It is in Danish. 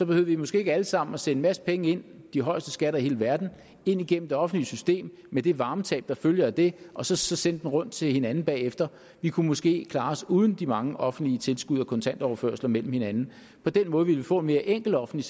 vi måske ikke alle sammen at sende en masse penge de højeste skatter i hele verden ind gennem det offentlige system med det varmetab der følger af det og så så sende dem rundt til hinanden bagefter vi kunne måske klare os uden de mange offentlige tilskud og kontantoverførsler mellem hinanden på den måde ville vi få en mere enkel offentlig